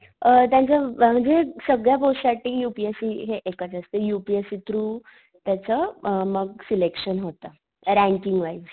अ त्यांच्या अ म्हणजे सगळ्या पोस्ट साठी यू पी एस सी हि हे एकच असते U P S C through, त्याच अ मग अ सिलेक्शन होत रँकिंग वाईस.